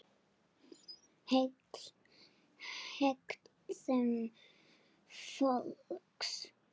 HEGÐUN FÓLKS